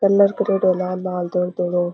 Colour करेडॉ है लाल लाल धोला धोला।